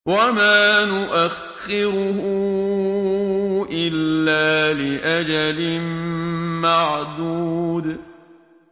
وَمَا نُؤَخِّرُهُ إِلَّا لِأَجَلٍ مَّعْدُودٍ